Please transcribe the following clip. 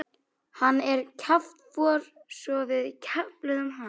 Hann er kjaftfor svo við kefluðum hann.